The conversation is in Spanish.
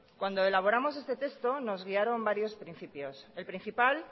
cuando elaboramos este texto nos guiaron varios principios el principal